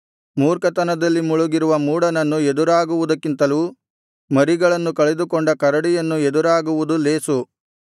ಮೂರ್ಖತನದಲ್ಲಿ ಮುಳುಗಿರುವ ಮೂಢನನ್ನು ಎದುರಾಗುವುದಕ್ಕಿಂತಲೂ ಮರಿಗಳನ್ನು ಕಳೆದುಕೊಂಡ ಕರಡಿಯನ್ನು ಎದುರಾಗುವುದು ಲೇಸು